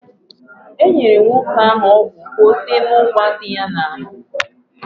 Enyere m nwoke ahụ ọgwụ ka ọ tee n'ụgwa dị ya n'ahụ.